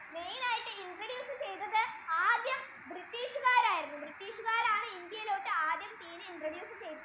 main ആയിട്ട് introduce ചെയ്തത് ആദ്യം British കാരായിരുന്നു British കാറാണ് ആദ്യായിട് India ഇലോട്ടു ടി introduce ചെയ്തത്